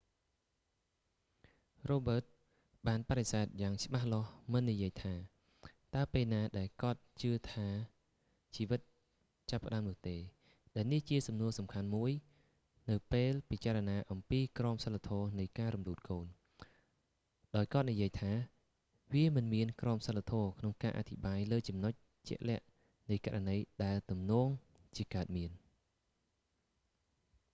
រ៉ូបឺតស៍ បានបដិសេធយ៉ាងច្បាស់លាស់មិននិយាយថាតើពេលណាដែលគាត់ជឿថាជីវិតចាប់ផ្តើមនោះទេ ដែលនេះជាសំណួរសំខាន់មួយនៅពេលពិចារណាអំពីក្រមសីលធម៌នៃការរំលូតកូន ដោយគាត់និយាយថា វាមិនមានក្រមសីលធម៌ក្នុងការអធិប្បាយលើចំណុចជាក់លាក់នៃករណីដែលទំនងជាកើតមាន